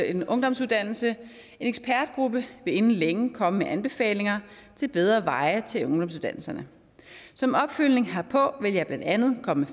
en ungdomsuddannelse en ekspertgruppe vil inden længe komme med anbefalinger til bedre veje til ungdomsuddannelserne som opfølgning herpå vil jeg blandt andet komme